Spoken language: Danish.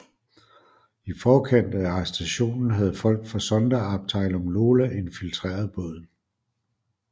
I forkant af arrestationen havde folk fra Sonderabteilung Lola infiltreret båden